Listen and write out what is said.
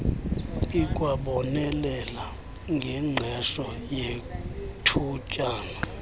ikwabonelela ngengqesho yethutyana